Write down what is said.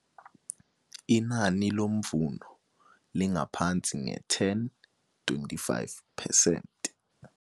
Inani lomvuno lingaphansi nge-10 25 percent.